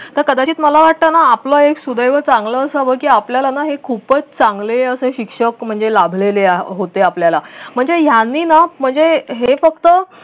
तर कदाचित मला वाटत ना आपलं एक सुदैव चांगलं असावं की आपल्याला ना हे खूपच चांगले असे शिक्षक म्हणजे लाभलेले होते आपल्याला म्हणजे यांनी ना म्हणजे हे फक्त